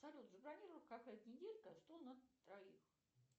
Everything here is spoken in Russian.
салют забронируй в кафе неделька стол на троих